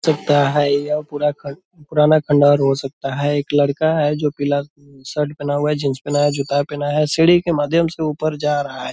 सकता है यह पूरा खन पुराना खंडहर हो सकता है। एक लड़का है जो पीला उम शर्ट पहना हुआ है जीन्स पहना है जूता पहना है सीढ़ी के माध्यम से ऊपर जा रहा है।